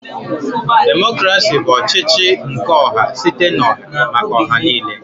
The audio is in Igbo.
Democrasi bụ ọchịchị nke ọha site n'oha maka oha niine.